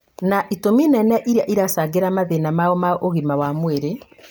na itũmi nene iria iracangĩra mathĩna mao ma ũgima wa mwĩrĩ